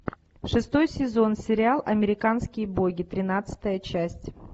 шестой сезон сериал американские боги тринадцатая часть